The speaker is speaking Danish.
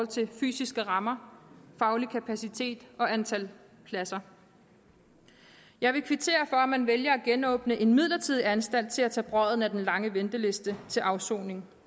til fysiske rammer faglig kapacitet og antal pladser jeg vil kvittere for at man vælger at genåbne en midlertidig anstalt til at tage brodden af den lange venteliste til afsoning